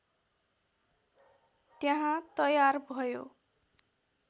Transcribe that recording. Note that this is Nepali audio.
त्यहाँ तयार भयो